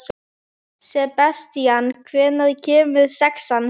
Sebastían, hvenær kemur sexan?